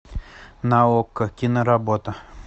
на окко киноработа